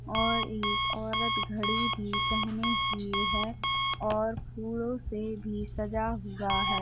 और ये औरत घड़ी भी पहनी हुई है और फूलों से भी सजा हुआ है।